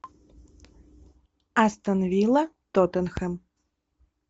астон вилла тоттенхэм